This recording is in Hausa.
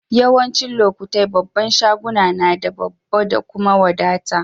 Yawancin lokatai babban shaguna na da babba kuma da wadata.